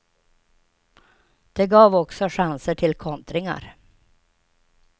Det gav också chanser till kontringar.